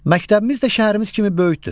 Məktəbimiz də şəhərimiz kimi böyükdür.